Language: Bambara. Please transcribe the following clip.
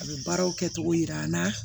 A bɛ baaraw kɛ cogo yira an na